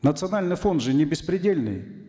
национальный фонд же не беспредельный